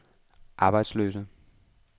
arbejdsløse